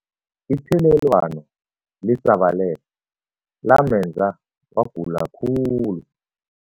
Ithelelwano lisabalele lamenza wagula khulu.